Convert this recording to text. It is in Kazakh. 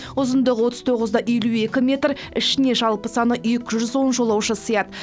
ұзындығы отыз тоғыз да елу екі метр ішіне жалпы саны екі жүз он жолаушы сыяды